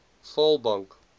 vaalbank